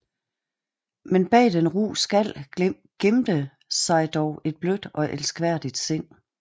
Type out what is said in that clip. Men bag den ru skal gemte sig dog et blødt og elskværdigt sind